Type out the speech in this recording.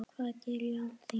Hvað geri ég án þín?